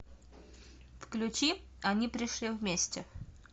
включи они пришли вместе